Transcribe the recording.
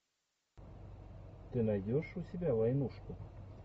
ты найдешь у себя войнушку